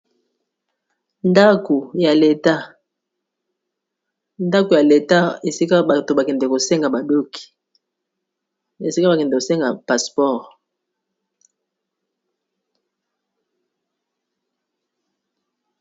Ndako ya leta, ndako ya leta esika batu bakende kosenga ba doc esika bakende kosenga passeport.